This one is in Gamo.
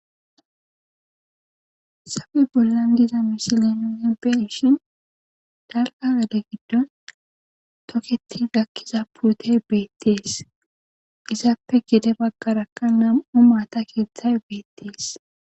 Hayssappe bollan diiza missilen nu beishshin dalgga gadde giddon tokketi gakiza puutey bettes izzappe gede baggaraka nam'u maata keththay bettes.